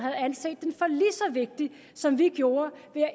så hvis vi